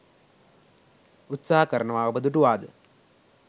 උත්සාහ කරනවා ඔබ දුටුවාද?